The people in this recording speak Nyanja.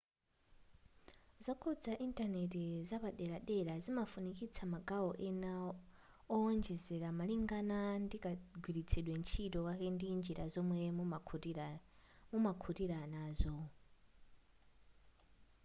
zokhuza intaneti zapaderadera zimafikitsa magawo ena owonjezera malingana ndikagwiritsidwe ntchito kake ndi njira zomwe mumakhutira nazo